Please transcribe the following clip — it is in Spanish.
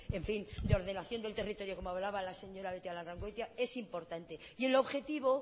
de ordenación del territorio como hablaba la señora beitialarrangoitia es importante y el objetivo